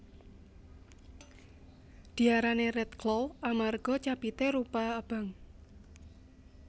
Diarani Redclaw amarga capité rupa abang